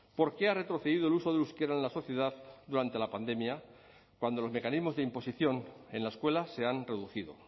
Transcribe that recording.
porque ha retrocedido el uso del euskera en la sociedad durante la pandemia cuando los mecanismos de imposición en la escuela se han reducido